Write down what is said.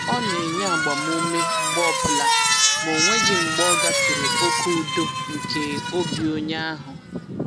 Ọ na-enye agbamume mgbe ọbụla ma o nweghị mgbe ọ gafere oke udo nke obi onye ahụ.